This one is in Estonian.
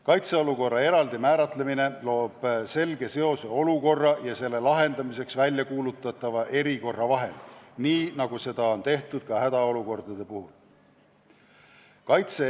Kaitseolukorra eraldi määratlemine loob selge seose olukorra ja selle lahendamiseks väljakuulutatava erikorra vahel, nii nagu seda on tehtud ka hädaolukordade puhul.